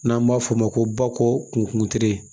N'an b'a f'o ma ko bakuru kuntan